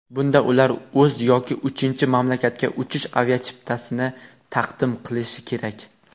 Bunda ular o‘z yoki uchinchi mamlakatga uchish aviachiptasini taqdim qilishi kerak.